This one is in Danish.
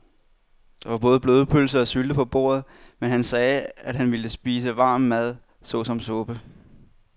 Der var både blodpølse og sylte på bordet, men han sagde, at han bare ville spise varm mad såsom suppe.